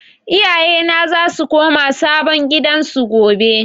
Iyaye na za su koma sabon gidan su gobe